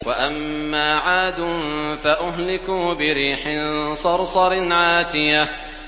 وَأَمَّا عَادٌ فَأُهْلِكُوا بِرِيحٍ صَرْصَرٍ عَاتِيَةٍ